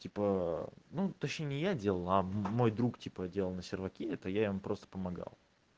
типа ну точнее не я делал а мой друг типа делал на серваке это я ему просто помогал